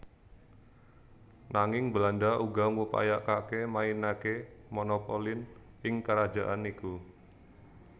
Nanging Belanda uga ngupayakake mainake monopolin ing kerajaan iku